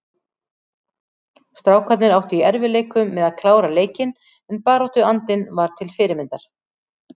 Strákarnir áttu í erfiðleikum með að klára leikinn en baráttuandinn var til fyrirmyndar.